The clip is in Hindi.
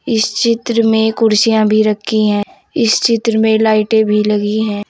इस चित्र में कुर्सियाँ भी रखी हैं इस चित्र में लाइटें भी लगी हैं।